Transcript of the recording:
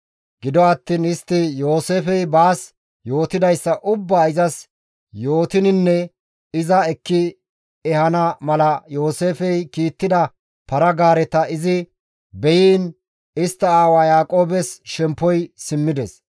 Gido attiin istti Yooseefey baas yootidayssa ubbaa izas yootininne iza ekki ehana mala Yooseefey kiittida para-gaareta izi beyiin, istta aawa Yaaqoobes shemppoy simmides.